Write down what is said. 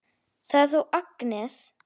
Það er þá Agnes!